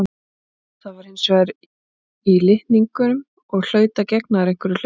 Það var hins vegar í litningum og hlaut að gegna þar einhverju hlutverki.